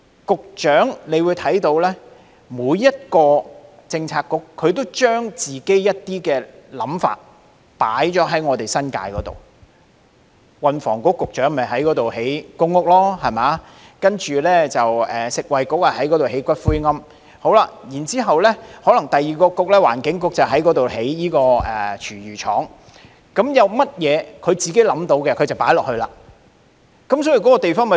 局長可以看到，每個政策局都會將自己的想法加諸新界區，運輸及房屋局要在新界覓地興建公共房屋，食物及衞生局要在新界覓地建骨灰龕，環境局則要興建廚餘廠，各個政策局想到就做，令新界區規劃紊亂。